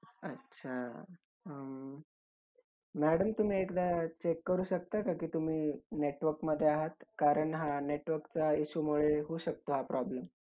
अच्छा madam तुम्ही एकदा check करू शकता की तुम्ही network मध्ये आहात? कारण हा network च्या issue मुळे होऊ शकतो हा problem.